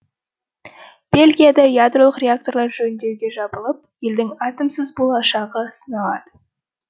бельгияда ядролық реакторлар жөндеуге жабылып елдің атомсыз болашағы сыналады